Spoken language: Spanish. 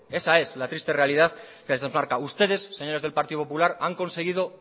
esa es la triste realidad desde cerca ustedes señores del partido popular han conseguido